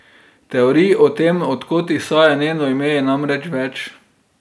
Teorij o tem, od kod izhaja njeno ime, je namreč več.